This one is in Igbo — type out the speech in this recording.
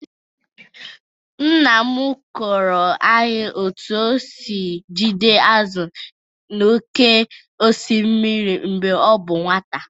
Nna m kọọrọ anyị otu o si ejide azụ̀ n’oké osimiri mgbe ọ bụ nwata.